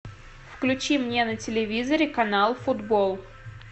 включи мне на телевизоре канал футбол